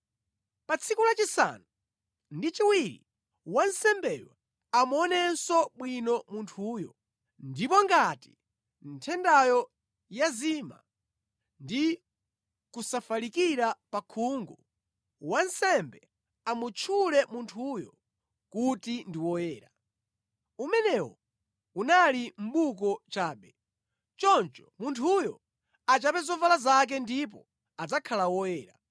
Pa tsiku lachisanu ndi chiwiri wansembeyo amuonenso bwino munthuyo, ndipo ngati nthendayo yazima ndi kusafalikira pa khungu, wansembe amutchule munthuyo kuti ndi woyera. Umenewo unali mʼbuko chabe. Choncho munthuyo achape zovala zake ndipo adzakhala woyera.